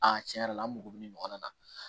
tiɲɛ yɛrɛ la an mago bɛ nin ɲɔgɔn na